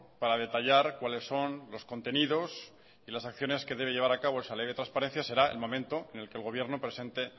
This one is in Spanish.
para detallar cuáles son los contenidos y las acciones que debe llevar a cabo esa ley de transparencia será el momento en el que el gobierno presente